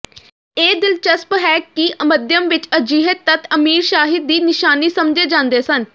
ਇਹ ਦਿਲਚਸਪ ਹੈ ਕਿ ਮੱਧਯਮ ਵਿਚ ਅਜਿਹੇ ਤੱਤ ਅਮੀਰਸ਼ਾਹੀ ਦੀ ਨਿਸ਼ਾਨੀ ਸਮਝੇ ਜਾਂਦੇ ਸਨ